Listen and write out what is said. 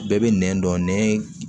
Bɛɛ bɛ nɛn dɔn nɛn